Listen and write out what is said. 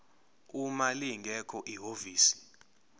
uma lingekho ihhovisi